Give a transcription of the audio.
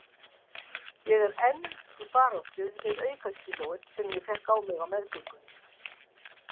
Ég er enn í baráttu við aukakílóin sem ég fékk á mig á meðgöngunni.